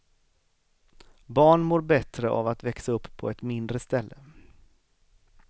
Barn mår bättre av att växa upp på ett mindre ställe.